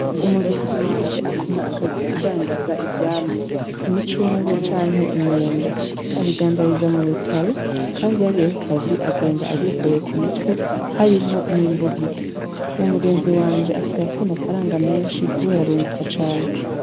Umugenzi wanje akora akazi ko kundandaza ivyamwa, imicungwe canke imyembe abindandariza m'urutaro, kandi iyo agiye kukazi agenda avyikoreye k'umutwe harimwo n'imbugita, uwo mugenzi wanje asigaye afise amafaranga menshi kubera arunguka cane.